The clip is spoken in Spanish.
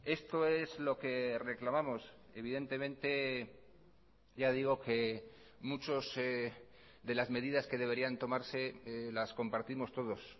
esto es lo que reclamamos evidentemente ya digo que muchos de las medidas que deberían tomarse las compartimos todos